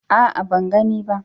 A'a, ban gani ba.